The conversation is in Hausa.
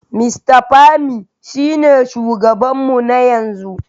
Mr Pami shine shugabanmu na yanzu.